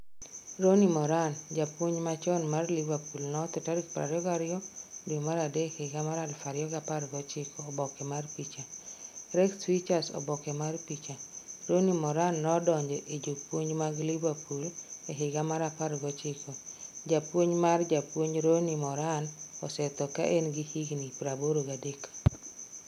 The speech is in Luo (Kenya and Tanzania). Ronnie Moran: Japuonj machon mar Liverpool notho tarik 22 dwe mar adek higa mar 2017 Oboke mar picha: Rex Features Oboke mar picha: Ronnie Moran nodonjo e jopuonj mag Liverpool e higa mar 19 japuonj mar japuonj Ronnie Moran osetho ka en gi higni 83.